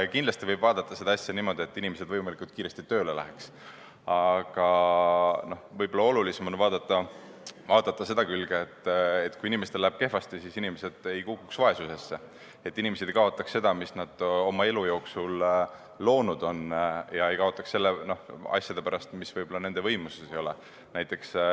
Kindlasti võib vaadata seda asja nii, et inimesed peaksid võimalikult kiiresti tööle minema, aga võib-olla on veel olulisem vaadata seda külge, et kui inimesel läheb kehvasti, siis ta ei kukuks vaesusesse, et keegi ei kaotaks seda, mis on ta oma elu jooksul loonud, asjade pärast, mis võib-olla tema enda võimuses ei ole.